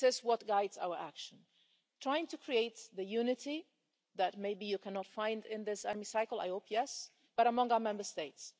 this is what guides our action trying to create the unity that maybe you cannot find in this Hemicycle I hope yes but among our Member States.